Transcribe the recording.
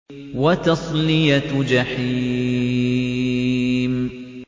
وَتَصْلِيَةُ جَحِيمٍ